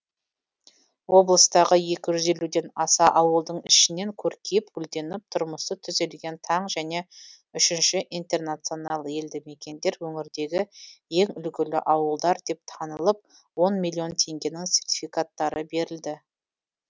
облыстағы екі жүз елуден аса ауылдың ішінен көркейіп гүлденіп тұрмысы түзелген таң және үшінші интернационал елдімекендер өңірдегі ең үлгілі ауылдар деп танылып он миллион теңгенің сертификаттары берілді